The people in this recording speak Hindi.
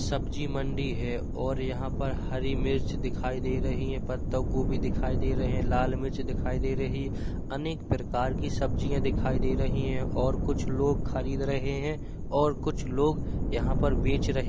सब्जी मंडी है और यहाँ पर हरी मिर्च दिखाई दे रही है। पत्ता गोभी दिखाई दे रहे हैं। लाल मिर्च दिखाई दे रही है। अनेक प्रकार की सब्जियां दिखाई दे रहीं है और कुछ लोग खरीद रहें हैं और कुछ लोग यहाँ पर बेच रहे --